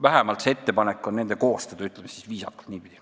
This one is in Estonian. Vähemalt on see ettepanek nende koostada, ütleme viisakalt niipidi.